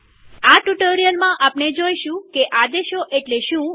આ ટ્યુ્ટોરીઅલમાંઆપણે જોઈશું કે આદેશો એટલે શું